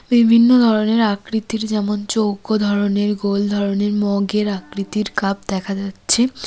বিভিন্ন ধরনের আকৃতির যেমন চৌক ধরনের গোল ধরনের মগের আকৃতির কাপ দেখা যাচ্ছে।